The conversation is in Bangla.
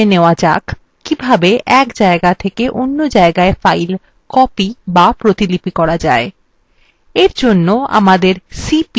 এখন জেনে নেওয়া যাক কিভাবে এক জায়গা থেকে অন্য জায়গায় file copy বা প্রতিলিপি করা যায় এর জন্য আমাদের cp command আছে